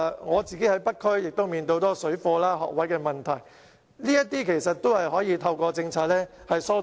我在北區的工作亦面對很多有關水貨及學額的問題，這些都可以透過政策疏導。